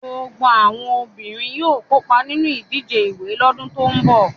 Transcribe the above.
Gbogbo àwọn obìnrin yóò kópa nínú ìdíje ìwẹ̀ lọ́dún tó ń bọ̀.